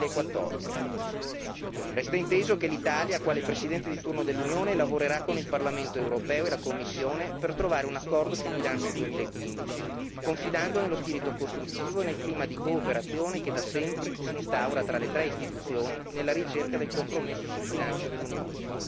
2014. Resta inteso che l'Italia, quale Presidente di turno dell'Unione, lavorerà con il Parlamento europeo e la Commissione per trovare un accordo sul bilancio 2015, confidando nello spirito costruttivo e nel clima di cooperazione che da sempre si instaura tra le tre Istituzioni nella ricerca del compromesso sul bilancio dell'Unione.